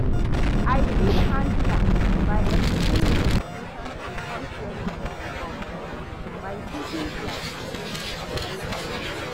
I fit handle am by explaining di limitations and constraints to my boss by seeking clarification and guidance.